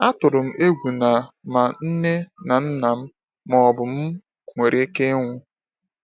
Atụrụ m egwu na ma nne na nna m ma ọ bụ m nwere ike ịnwụ.